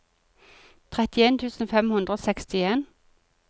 trettien tusen fem hundre og sekstien